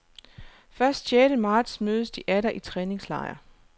Først sjette marts mødes de atter i træningslejr.